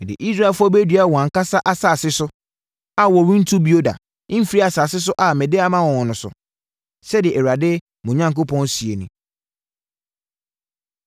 Mede Israelfoɔ bɛdua wɔn ankasa asase so a wɔrentu bio da mfiri asase a mede ama wɔn no so,” sɛdeɛ Awurade, mo Onyankopɔn seɛ nie.